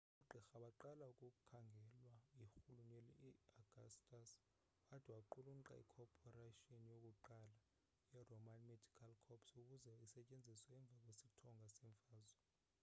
oogqirha baqala ukukhangelwa yirhuluneli augustus wade waqulunqa ikhophoration yokuqala yeroman medical corps ukuze isetyenziswe emva kwesithonga seemfazwe